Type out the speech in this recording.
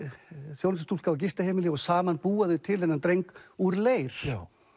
þjónustustúlka á gistiheimili og saman búa þau til þennan dreng úr leir